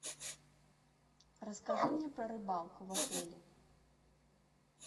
расскажи мне про рыбалку в отеле